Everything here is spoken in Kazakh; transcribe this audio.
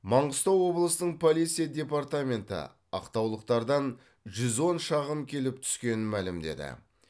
маңғыстау облысының полиция департаменті ақтаулықтардан жүз он шағым келіп түскенін мәлімдеді